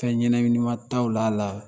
Fɛn ɲɛnɛminima taawili a la